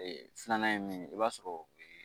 filanan ye min ye i b'a sɔrɔ ee